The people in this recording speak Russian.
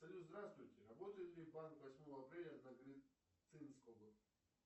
салют здравствуйте работает ли банк восьмого апреля на глицинского